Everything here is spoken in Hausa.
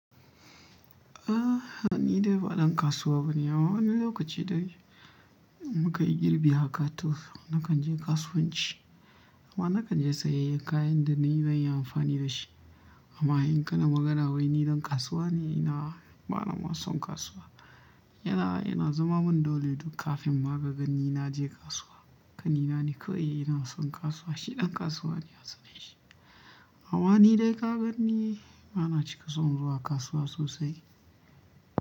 Ah, ni dai ba ɗan kasuwa bane. Amma wani lokaci dai muka yi girbi haka to nakan je kasuwanci, amma nakan je saye kayan da nayi bani amfani da shi. Amma in kana magana wai ni ɗan kasuwa ne, ina bana son kasuwa. Yana ina zama min dole duk kafin ma kaga ni na je kasuwa. Kanina ne kawai ina son kasuwa, shi ɗan kasuwa ne a suna shi. Amma ni dai ka ganni bana cika son zuwa kasuwa sosai.